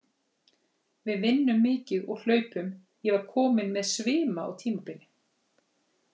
Við vinnum mikið og hlaupum, ég var kominn með svima á tímabili.